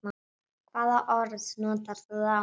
Hvaða orð notar þú þá?